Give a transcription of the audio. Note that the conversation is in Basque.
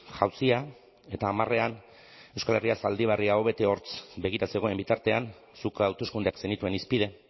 jausia eta hamarean euskal herria zaldibarri aho bete hortz begira zegoen bitartean zuk hauteskundeak zenituen hizpide